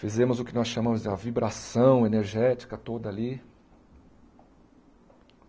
Fizemos o que nós chamamos de uma vibração energética toda ali.